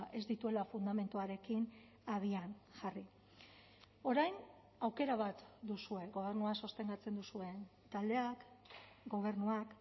ez dituela fundamentuarekin abian jarri orain aukera bat duzue gobernua sostengatzen duzuen taldeak gobernuak